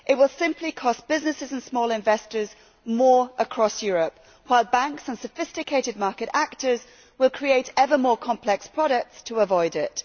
It will simply cost businesses and small investors across Europe more, while banks and sophisticated market actors will create ever more complex products to avoid it.